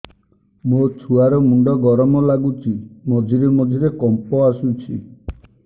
ମୋ ଛୁଆ ର ମୁଣ୍ଡ ଗରମ ଲାଗୁଚି ମଝିରେ ମଝିରେ କମ୍ପ ଆସୁଛି